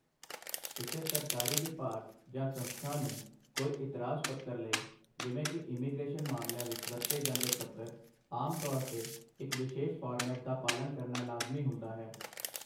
ਕਿਸੇ ਸਰਕਾਰੀ ਵਿਭਾਗ ਜਾਂ ਸੰਸਥਾ ਨੂੰ ਕੋਈ ਇਤਰਾਜ਼ ਪੱਤਰ ਲਈ, ਜਿਵੇਂ ਕਿ ਇਮੀਗ੍ਰੇਸ਼ਨ ਮਾਮਲਿਆਂ ਵਿੱਚ ਵਰਤੇ ਜਾਂਦੇ ਪੱਤਰ, ਆਮ ਤੌਰ 'ਤੇ ਇੱਕ ਵਿਸ਼ੇਸ਼ ਫਾਰਮੈਟ ਦਾ ਪਾਲਣ ਕਰਨਾ ਲਾਜ਼ਮੀ ਹੁੰਦਾ ਹੈ।